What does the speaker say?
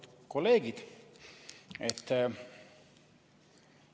Lugupeetud kolleegid!